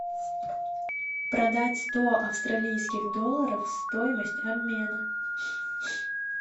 продать сто австралийских долларов стоимость обмена